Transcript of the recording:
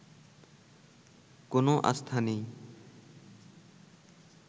কোন আস্থা নেই